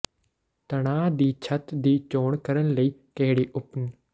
ਤਣਾਅ ਦੀ ਛੱਤ ਦੀ ਚੋਣ ਕਰਨ ਲਈ ਕਿਹੜੀ ਉਪਨ